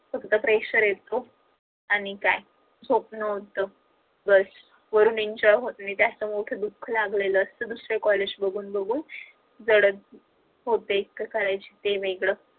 फक्त pressure येत आणि काय झोपण होत बस enjoy होत नाही म्हणून दुख लागलेल असत दुसरे college बघून बघून जडच होते